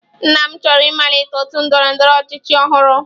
Nna m chọrọ ịmalite otu ndọrọ ndọrọ ọchịchị ọhụrụ.